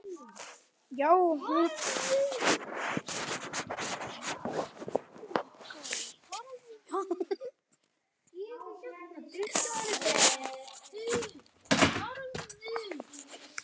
Já, hún hress sagði Linja.